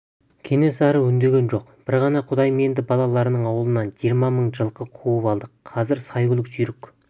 кенесары үндеген жоқ бір ғана құдайменді балаларының ауылынан жиырма мың жылқы қуып алдық қазір сәйгүлік жүйрік